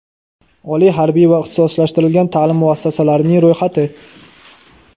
oliy harbiy va ixtisoslashtirilgan taʼlim muassasalarining ro‘yxati.